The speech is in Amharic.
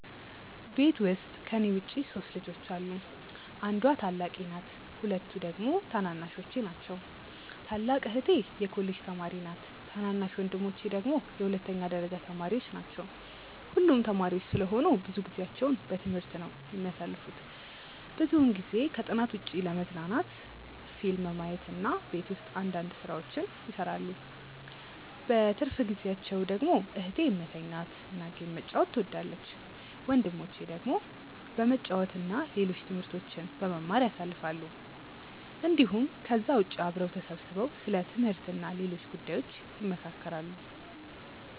ቤት ውስጥ ከኔ ውጪ 3 ልጆች አሉ። አንዷ ታላቄ ናት ሁለቱ ደግሞ ታናናሾቼ ናቸው። ታላቅ እህቴ የኮሌጅ ተማሪ ነች ታናናሽ ወንድሞቼ ደግሞ የሁለተኛ ደረጃ ተማሪዎች ናቸው። ሁሉም ተማሪዎች ስለሆኑ ብዙ ጊዜአቸውን በትምህርት ነው የሚያሳልፉት። ብዙውን ጊዜ ከጥናት ውጪ ለመዝናናት ፊልም ማየት እና ቤት ውስጥ አንዳንድ ስራዎችን ይሰራሉ። በትርፍ ጊዜአቸው ደግሞ እህቴ መተኛት እና ጌም መጫወት ትወዳለች። ወንድሞቼ ደግሞ በመጫወት እና ሌሎች ትምህርቶችን በመማር ያሳልፋሉ እንዲሁም ከዛ ውጪ አብረው ተሰብስበው ስለ ትምህርት እና ሌሎች ጉዳዮች ይመካከራሉ።